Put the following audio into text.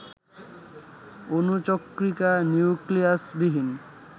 অণুচক্রিকা নিউক্লিয়াসবিহীন